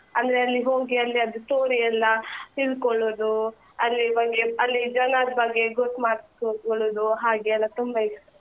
ಅಂದ್ರೆ ಅಲ್ಲಿ ಹೋಗಿ ಅಲ್ಲಿಯದ್ದು story ಎಲ್ಲಾ ತಿಳ್ಕೊಳೋದು, ಅಲ್ಲಿ ಬಗ್ಗೆ ಅಲ್ಲಿ ಜನದ್ ಬಗ್ಗೆ ಗೊತ್ತು ಮಾಡ್ಕೊಕ್ಕೊಳೋದು, ಹಾಗೆ ಎಲ್ಲ ತುಂಬ ಇಷ್ಟ.